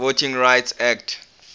voting rights act